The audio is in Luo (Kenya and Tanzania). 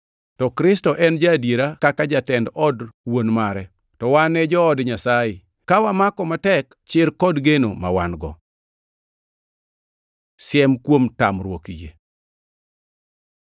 To Kristo en ja-adiera kaka jatend od Wuon mare. To wan e jood Nyasaye, ka wamako matek chir kod geno ma wan-go. Siem kuom tamruok yie